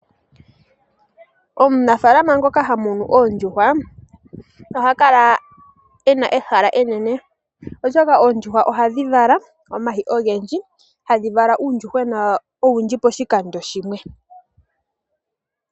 Omunafalama ngoka hamunu oondjuhwa oha kala ena ehala enene oshoka oondjuhwa ohadhi vala omayi ogendji etadhi tendula uundjuhwena owundji poshikando.